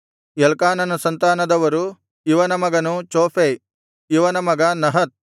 ಎಲ್ಕಾನನ ಸಂತಾನದವರು ಇವನ ಮಗನು ಚೋಫೈ ಇವನ ಮಗ ನಹತ್